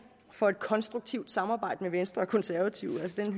for et konstruktivt samarbejde med venstre og konservative den